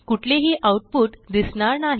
कुठलेही आऊटपुट दिसणार नाही